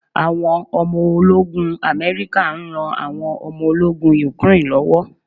Àwọn ọmọ ológun America n ran àwọn omo ológun Ukraine lọ́wọ́